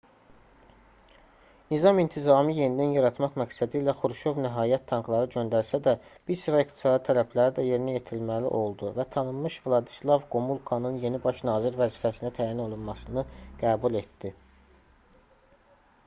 nizam-intizamı yenidən yaratmaq məqsədilə xruşov nəhayət tankları göndərsə də bir sıra iqtisadi tələbləri də yerinə yetirməli oldu və tanınmış vladislav qomulkanın yeni baş nazir vəzifəsinə təyin olunmasını qəbul etdi